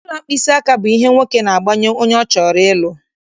Ọla mkpịsị aka bụ ihe nwoke na-agbanye onye ọ chọrọ ịlụ.